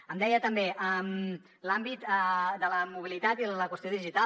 em deia també l’àmbit de la mobilitat i la qüestió digital